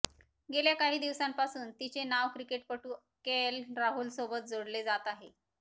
गेल्या काही दिवसांपासून तिचे नाव क्रिकेटपटू केएल राहुलसोबत जोडले जात आहे